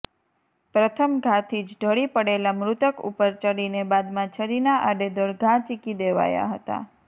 પ્રથમ ઘાથી જ ઢળી પડેલા મૃતક ઉપર ચડીને બાદમાં છરીના આડેધડ ઘા ઝીંકી દેવાયા હતાં